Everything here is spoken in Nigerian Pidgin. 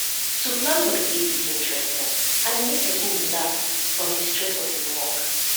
to plan holiday de dey interesting and e make persin relax from di stress of im work